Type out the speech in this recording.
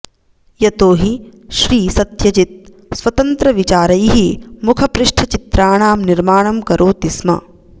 यतो हि श्रीसत्यजित् स्वतन्त्रविचारैः मुखपृष्ठचित्राणां निर्माणं करोति स्म